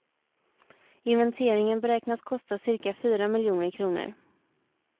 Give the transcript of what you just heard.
Inventeringen beräknas kosta cirka fyra miljoner kronor.